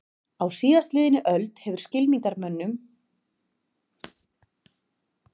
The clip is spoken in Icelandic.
Á síðastliðinni öld hefur skylmingamönnum farið mikið fram.